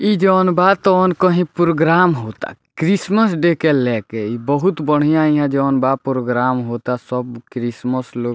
इ जउन बा तउन कहीं प्रोग्रम होता क्रिसमस डे के लाके इ बहुत बढ़िया यहाँ जउन बा प्रोग्रम होता सब क्रिसमस लो --